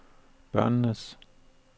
børnenes